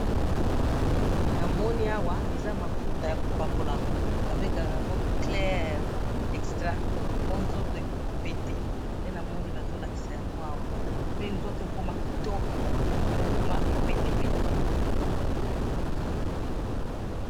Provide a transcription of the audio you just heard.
namoni awa eza mafuta ya ko pakula, ba bengaka yango clair extra, po nzoto ekoma pete, nde namoni bazo lakisa yango awa, pe nzoto ekoma kitoko, pe mutu akoma pete pete